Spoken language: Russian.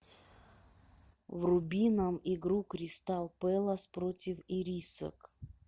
вруби нам игру кристал пэлас против ирисок